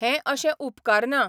हें अशें उपकारना.